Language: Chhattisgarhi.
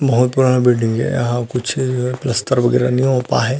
बहुत बड़ा बिल्डिंग हे यहाँ कुछ प्लास्तर वगैरह नहीं हो पाए हे ।